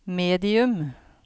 medium